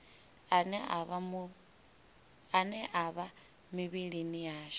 ane a vha mivhilini yashu